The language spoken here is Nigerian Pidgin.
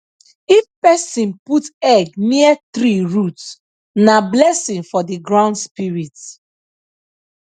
if person put egg near tree root na blessing for the ground spirit